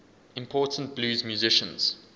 important blues musicians